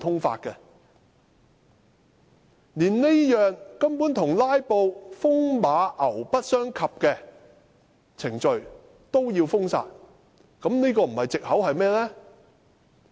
建制派連這項與"拉布"風馬牛不相及的程序也要封殺，打擊"拉布"不是藉口又是甚麼？